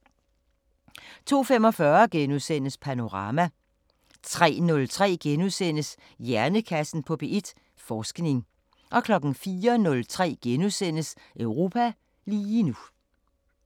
02:45: Panorama * 03:03: Hjernekassen på P1: Forskning * 04:03: Europa lige nu *